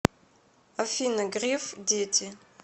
афина греф дети